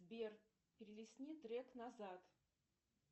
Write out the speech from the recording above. сбер перелистни трек назад